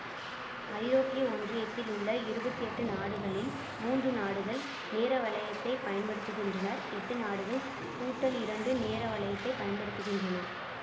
ஐரோப்பிய ஒன்றியத்தில் உள்ள இருபத்தி எட்டு நாடுகளில் மூன்று நாடுகள் நேர வலையத்தை பயன்படுத்துகின்றனர் எட்டு நாடுகள்கூட்டல் இரண்டு நேர வலையத்தை பயன்படுத்துகின்றன